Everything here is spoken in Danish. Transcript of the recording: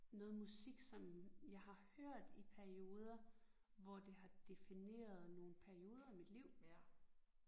Noget musik som jeg har hørt i perioder hvor det har defineret nogle perioder af mit liv